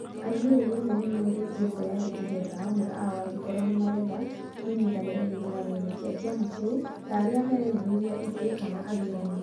Arũmĩrĩri othe nĩ moorĩtio kwĩyandĩkithia ta amwe ao angĩkorwo nĩ marenda kũnyitanĩra gĩthurano-inĩ kĩa kĩama kĩu ta arĩa marerirĩria itĩ kana athuurani.